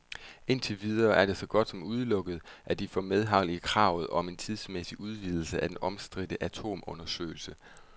Indtil videre er det så godt som udelukket, at de får medhold i kravet om en tidsmæssig udvidelse af den omstridte atomundersøgelse.